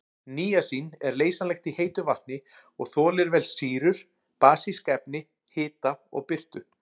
Níasín er leysanlegt í heitu vatni og þolir vel sýrur, basísk efni, hita og birtu.